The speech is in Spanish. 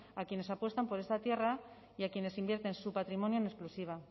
a quienes apuestan por esa tierra y a quienes invierten su patrimonio en exclusiva